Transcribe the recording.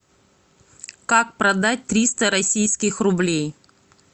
как продать триста российских рублей